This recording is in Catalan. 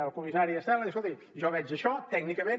el comissari estela diu escolti jo veig això tècnicament